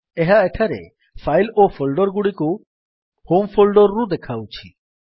ଏହା ଏଠାରେ ଫାଇଲ୍ ଓ ଫୋଲ୍ଡର୍ ଗୁଡିକୁ ହୋମ୍ ଫୋଲ୍ଡର୍ ରୁ ଦେଖାଉଛି